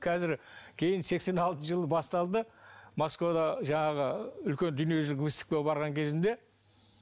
қазір кейін сексен алтыншы жыл басталды москвада жаңағы үлкен дүниежүзілік выставкаға барған кезімде